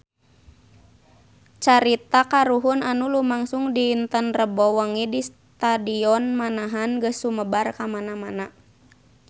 Carita kahuruan anu lumangsung dinten Rebo wengi di Stadion Manahan geus sumebar kamana-mana